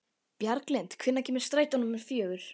Bjarglind, hvenær kemur strætó númer fjögur?